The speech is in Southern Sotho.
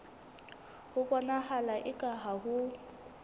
ho bonahala eka ha ho